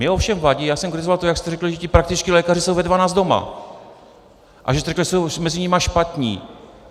Mně ovšem vadí - já jsem kritizoval to, jak jste řekl, že ti praktičtí lékaři jsou ve dvanáct doma a že jste řekl, že jsou mezi nimi špatní.